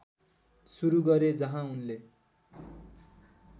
सुरु गरे जहाँ उनले